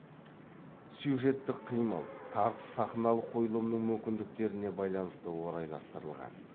сюжеттік қимыл тартыс сахналық қойылымның мүмкіндіктеріне байланысты орайластырылған